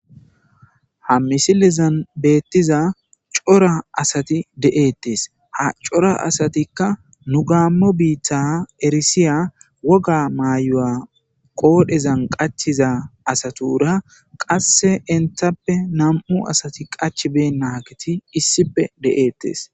ha misilizan beettiza cora asati de7eettes ha cora asatikka nu gaammo biitta erisiya woga maayu7a qoodhezan qachiza asatura qasse enthappe nam7u asati qach be naageti issipe de7eettes